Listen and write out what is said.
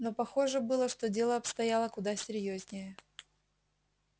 но похоже было что дело обстояло куда серьёзнее